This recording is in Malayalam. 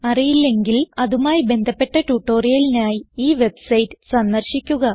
അറിയില്ലെങ്കിൽ അതുമായി ബന്ധപ്പെട്ട ട്യൂട്ടോറിയലിനായി ഈ വെബ്സൈറ്റ് സന്ദർശിക്കുക